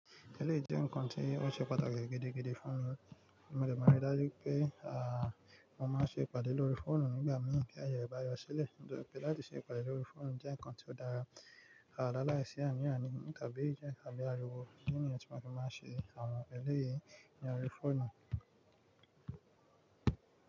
Eleyi jẹ ǹkan tí ó ṣe pàtàkì gidigidi fún mi nì mo dẹ̀ ma n ri dájú pé, à, mo máa ṣe ìpàdé lórí fóònù nígbà mìíràn ti aye rẹ bá yọ sílẹ̀. Nítorí pé láti ṣe ìpàdé lórí fóònù jẹ́ ǹkan tí ó dára, Ni a láìsí ànì àní tàbí jẹ́ tàbí ariwo. Idi ni yen tí máa fi máa ṣe àwọn eleyìí ní orí fóònù?